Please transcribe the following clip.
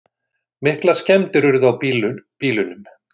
Miklar skemmdir urðu á bílunum